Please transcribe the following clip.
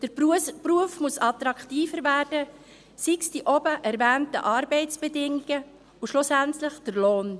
Der Beruf muss attraktiver werden, sei es durch die oben erwähnten Arbeitsbedingungen und schlussendlich den Lohn.